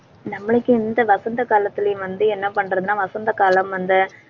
நம்மளுக்கு இந்த வசந்த காலத்திலேயும் வந்து என்ன பண்றதுன்னா வசந்த காலம், அந்த